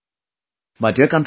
My dear countrymen,